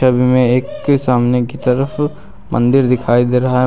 छवि में एक के सामने की तरफ मंदिर दिखाई दे रहा है।